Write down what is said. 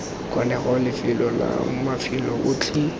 kgonegang lefelo la mafelo otlhe